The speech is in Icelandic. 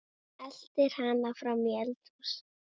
Eltir hana fram í eldhús.